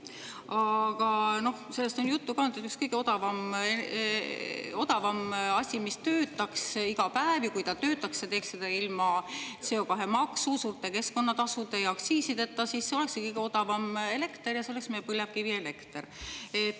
Aga noh, sellest on juttu ka olnud, et üks kõige odavam asi, mis töötaks iga päev, ja kui töötaks, teeks seda ilma CO2-maksu, suurte keskkonnatasude ja aktsiisideta – ja siis olekski kõige odavam elekter –, on meil põlevkivielekter.